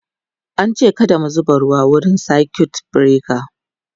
an ce kada mu zuba ruwa wurin circuit breaker